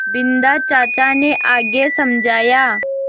बिन्दा चाचा ने आगे समझाया